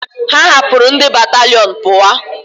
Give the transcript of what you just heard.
Ha hapuru ndi bataliọnu puwa